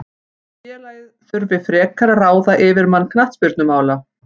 Félagið þurfi frekar að ráða yfirmann knattspyrnumála.